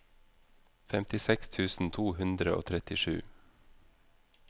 femtiseks tusen to hundre og trettisju